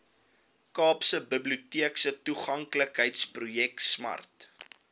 kaapstadse biblioteektoeganklikheidsprojek smart